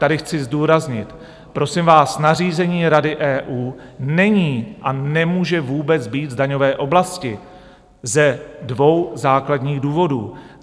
Tady chci zdůraznit: Prosím vás, nařízení Rady EU není a nemůže vůbec být v daňové oblasti ze dvou základních důvodů.